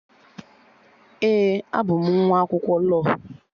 Ee, abụ m nwa akwụkwọ lọọ